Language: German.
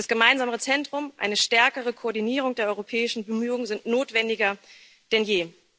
Das Gemeinsame Zentrum, eine stärkere Koordinierung der europäischen Bemühungen sind notwendiger denn je.